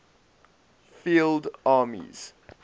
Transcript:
field armies